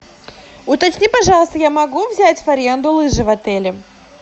уточни пожалуйста я могу взять в аренду лыжи в отеле